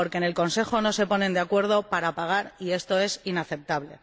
Porque en el Consejo no se ponen de acuerdo para pagar, y esto es inaceptable.